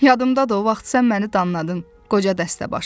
"Yadındadır o vaxt sən məni danladın, qoca dəstəbaşı."